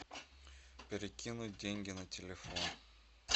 перекинуть деньги на телефон